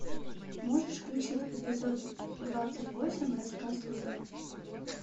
можешь включить эпизод двадцать восемь рассказ служанки